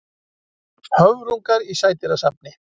Höfrungur í sædýrasafni.